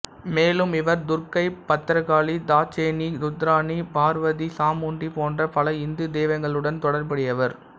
மேலும் இவர் துர்க்கை பத்ரகாளி தாட்சாயிணி ருத்ராணி பார்வதி சாமுண்டி போன்ற பல இந்து தெய்வங்களுடன் தொடர்புடையவர்